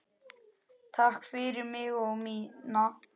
Takk fyrir mig og mína.